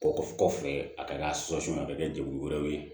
Kɔfɛ a ka a ka kɛ jɛkulu wɛrɛw ye